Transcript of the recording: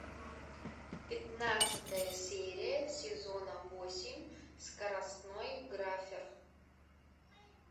пятнадцатая серия сезона восемь скоростной графер